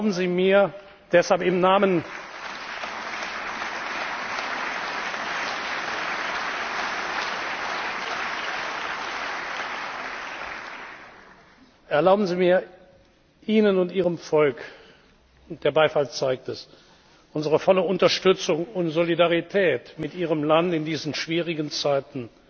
Erlauben Sie mir, Ihnen und Ihrem Volk der Beifall zeigt es unsere volle Unterstützung und Solidarität mit Ihrem Land in diesen schwierigen Zeiten